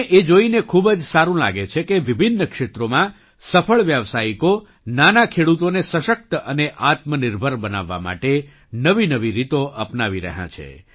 મને એ જોઈને ખૂબ જ સારું લાગે છે કે વિભિન્ન ક્ષેત્રોમાં સફળ વ્યાવસાયિકો નાના ખેડૂતોને સશક્ત અને આત્મનિર્ભર બનાવવા માટે નવીનવી રીતો અપનાવી રહ્યા છે